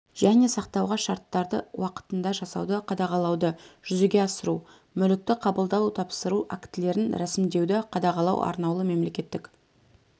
және сақтауға шарттарды уақытында жасауды қадағалауды жүзеге асыру мүлікті қабылдау-тапсыру актілерін рәсімдеуді қадағалау арнаулы мемлекеттік